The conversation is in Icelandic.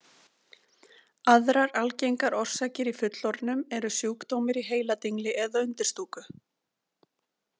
Aðrar algengar orsakir í fullorðnum eru sjúkdómur í heiladingli eða undirstúku.